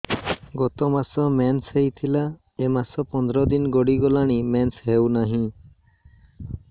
ଗତ ମାସ ମେନ୍ସ ହେଇଥିଲା ଏ ମାସ ପନ୍ଦର ଦିନ ଗଡିଗଲାଣି ମେନ୍ସ ହେଉନାହିଁ